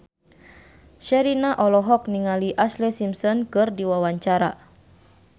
Sherina olohok ningali Ashlee Simpson keur diwawancara